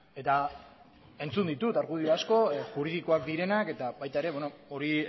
eta entzun ditut argudio asko juridikoak direnak eta baita ere hori